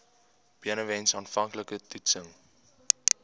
benewens aanvanklike toetsings